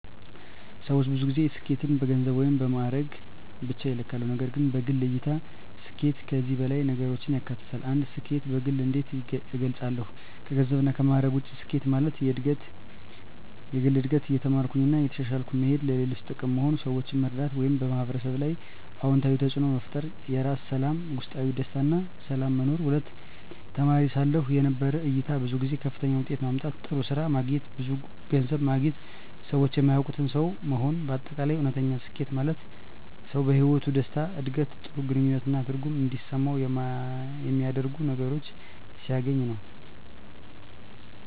ሰዎች ብዙ ጊዜ ስኬትን በገንዘብ ወይም በማዕረግ ብቻ ይለካሉ፣ ነገር ግን በግል እይታ ስኬት ከዚህ በላይ ነገሮችን ያካትታል። 1. ስኬትን በግል እንዴት እገልጻለሁ ከገንዘብና ከማዕረግ ውጭ ስኬት ማለት፦ የግል እድገት – እየተማርኩ እና እየተሻሻልኩ መሄድ ለሌሎች ጥቅም መሆን – ሰዎችን መርዳት ወይም በሕብረተሰብ ላይ አዎንታዊ ተፅዕኖ መፍጠር የራስ ሰላም – ውስጣዊ ደስታ እና ሰላም መኖር 2. ተማሪ ሳለሁ የነበረው እይታ ብዙ ጊዜ ከፍተኛ ውጤት ማምጣት፣ ጥሩ ስራ ማግኘት፣ ብዙ ገንዘብ ማግኘት ሰዎች የሚያውቁት ሰው መሆን በ አጠቃላይ: እውነተኛ ስኬት ማለት ሰው በሕይወቱ ደስታ፣ ዕድገት፣ ጥሩ ግንኙነት እና ትርጉም እንዲሰማው የሚያደርጉ ነገሮችን ሲያገኝ ነው።